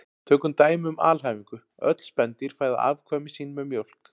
Tökum dæmi um alhæfingu: Öll spendýr fæða afkvæmi sín með mjólk